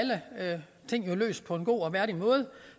alle ting løst på en god og værdig måde